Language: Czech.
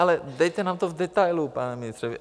Ale dejte nám to v detailu, pane ministře.